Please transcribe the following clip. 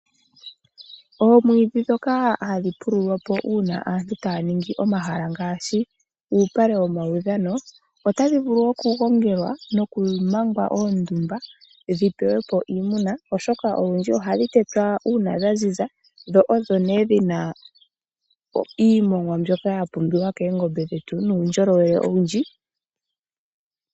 Oomwiidhi ndhoka hadhi pululwa po uuna aantu taya ningi omahala ngaashi uupale womaudhano otadhi vulu okugongelwa nokumangwa oondumba dhi pewe po iimuna oshoka olundji ohadhi tetwa uuna dha ziza dho odho nee dhina iimongwa mbyoka ya pumbiwa koongombe dhetu nuundjolowele owundji.